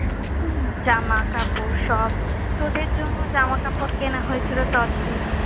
হম জামা কাপড় সব। তোদের জন্য জামা কাপড় কেনা হয়েছিলো তত্বে।